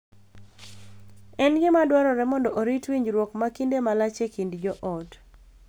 En gima dwarore mondo orit winjruok ma kinde malach e kind joot.